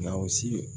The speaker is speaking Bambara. Naw si